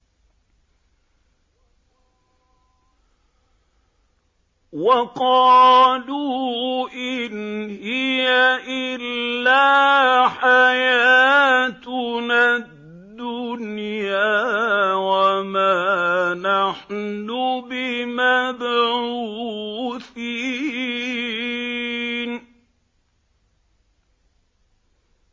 وَقَالُوا إِنْ هِيَ إِلَّا حَيَاتُنَا الدُّنْيَا وَمَا نَحْنُ بِمَبْعُوثِينَ